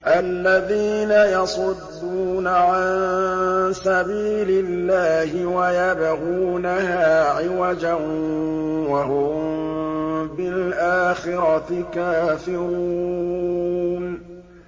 الَّذِينَ يَصُدُّونَ عَن سَبِيلِ اللَّهِ وَيَبْغُونَهَا عِوَجًا وَهُم بِالْآخِرَةِ كَافِرُونَ